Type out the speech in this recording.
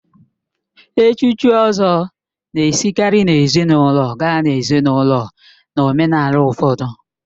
Echuchi Ozor na-esikarị n'ezinaụlọ gaa n'ezinaụlọ na omenala ụfọdụ